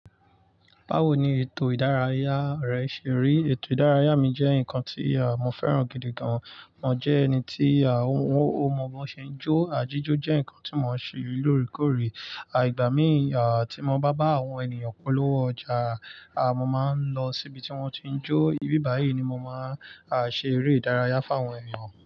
Báwo ni ètò ìdárayá rẹ ṣe rí? Ètò ìdárayá mi jẹ́ nǹkan tí mo fẹ́ràn gidi gan. Mo jẹ́ ẹni tí ah ó mọ bí wọ́n ṣe ń jó. Àjíjó jẹ́ ǹkan tí mo ń ṣe lóòrèkóòrè. Ìgbà míìn ti mo bá bá àwọn ènìyàn polówó ọjà, mo máa ń lọ síbi tí wọ́n ti ń jó. Ibi bàyíì ni mo máa ṣe eré ìdárayá fún àwọn ènìyàn.